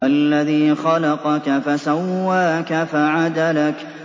الَّذِي خَلَقَكَ فَسَوَّاكَ فَعَدَلَكَ